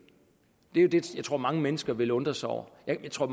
er jo det jeg tror mange mennesker vil undre sig over jeg tror